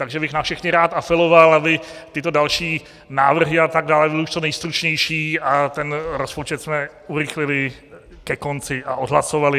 Takže bych na všechny rád apeloval, aby tyto další návrhy a tak dále byly už co nejstručnější a ten rozpočet jsme urychlili ke konci a odhlasovali.